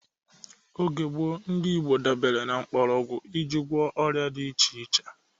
Oge gbọo, ndị Igbo dabere na mkpọrọgwụ e ji gwo ọrịa dị iche iche